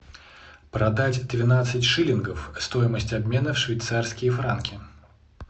продать тринадцать шиллингов стоимость обмена швейцарские франки